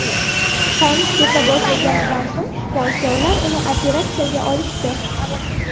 Qon keta boshlaganidan so‘ng shifokorlar uni operatsiyaga olishdi.